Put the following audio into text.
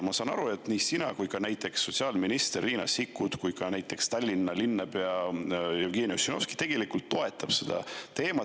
Ma saan aru, et nii sina kui ka minister Riina Sikkut kui ka Tallinna linnapea Jevgeni Ossinovski tegelikult toetate seda teemat.